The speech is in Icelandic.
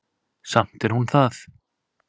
Samt er hún það.